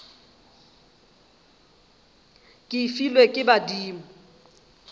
ke e filwe ke badimo